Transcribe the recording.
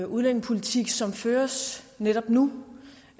udlændingepolitik som føres netop nu